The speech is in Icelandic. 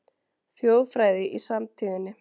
Þjóðfræði í samtíðinni